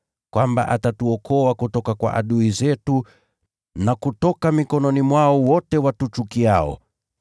kwamba atatuokoa kutoka kwa adui zetu, na kutoka mikononi mwao wote watuchukiao: